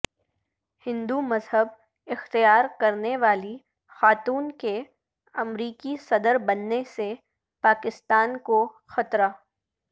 ہندو مذہب اختیار کرنے والی خاتون کے امریکی صدر بننے سے پاکستان کو خطرہ